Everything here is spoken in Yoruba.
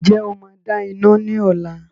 Ǹjẹ́ o máa dá iná ní ọ̀la?